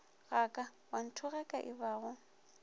ga ka wa nthogaka ebago